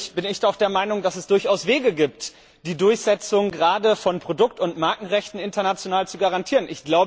Natürlich bin ich doch der Meinung, dass es durchaus Wege gibt, die Durchsetzung gerade von Produkt und Markenrechten international zu garantieren.